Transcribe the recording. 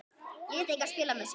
Lét engan spila með sig.